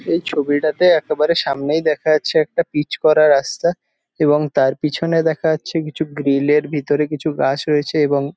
এই ছবিটাতে একেবারে সামনেই দেখা যাচ্ছে একটা পিচ করা রাস্তা এবং তার পিছনে দেখা যাচ্ছে কিছু গ্রিল এর ভিতরে কিছু গাছ রয়েছে এবং--